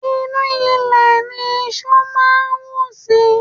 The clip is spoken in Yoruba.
Inú ilẹ̀ ní iṣú máa ń wù sí.